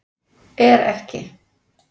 Er ekki